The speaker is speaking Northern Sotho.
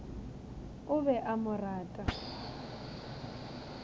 o be a mo rata